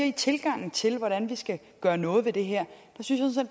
i tilgangen til hvordan vi skal gøre noget ved det her synes jeg